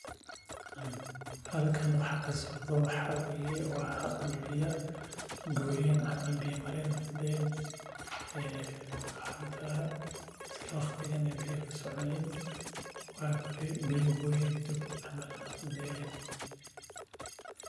Halkan waxaa kasocdo waxaa waye waa dul bjya ilsa waqtigan aya biya kasoconin sas waye sitha losameyo.